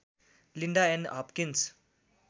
Linda Ann Hopkins